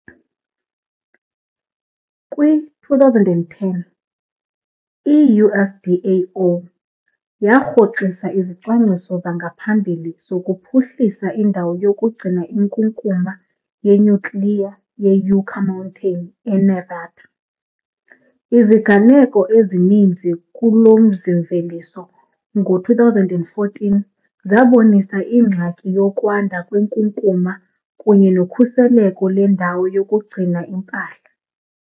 Kwi-2010, i -USDAO yarhoxisa izicwangciso zangaphambili zokuphuhlisa indawo yokugcina inkunkuma yenyukliya yeYucca Mountain eNevada. Iziganeko ezininzi kulo mzi-mveliso ngo-2014 zabonisa ingxaki yokwanda kwenkunkuma kunye nokhuseleko lwendawo yokugcina impahla.